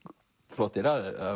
flottir